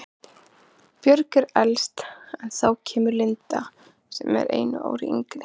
Björg er elst en þá kemur Linda sem er einu ári yngri.